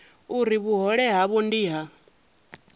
uri vhuhole havho ndi ha